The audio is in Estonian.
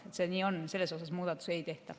Nii see on, selles osas muudatusi ei tehta.